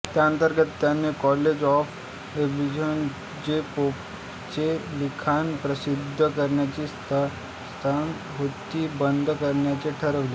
त्याअंतर्गत त्याने college of abbreviators जे पोपचे लिखाण प्रसिद्ध करण्याची संस्था होती बंद करण्याचे ठरवले